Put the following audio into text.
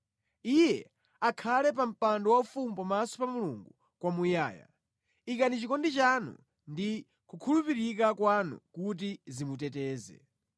Iye akhale pa mpando waufumu pamaso pa Mulungu kwamuyaya; ikani chikondi chanu ndi kukhulupirika kwanu kuti zimuteteze.